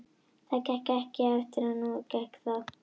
Það gekk ekki eftir þá en nú gekk það.